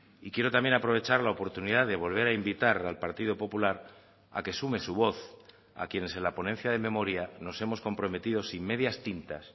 y quiero también aprovechar la oportunidad de volver a invitar al partido popular a que sume su voz a quienes en la ponencia de memoria nos hemos comprometido sin medias tintas